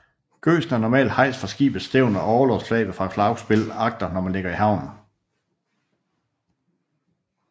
Gøsen er normalt hejst fra skibets stævn og orlogsflaget fra flagspil agter når man ligger i havn